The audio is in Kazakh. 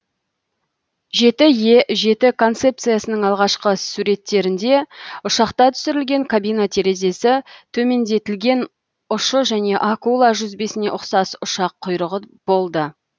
е концепциясының алғашқы суреттерінде ұшақта түсірілген кабина терезесі төмендетілген ұшы және акула жүзбесіне ұқсас ұшақ құйрығы болды